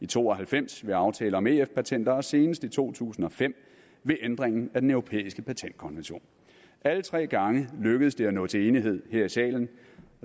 to og halvfems ved aftalen om ef patenter og senest i to tusind og fem ved ændringen af den europæiske patentkonvention alle tre gange lykkedes det at nå til enighed her i salen